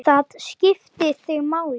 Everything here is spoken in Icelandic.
Það skipti þig máli.